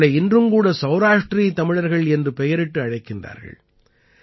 இவர்களை இன்றும் கூட சௌராஷ்ட்ரீ தமிழர்கள் என்ற பெயரிட்டு அழைக்கிறார்கள்